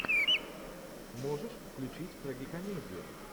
можешь включить трагикомедию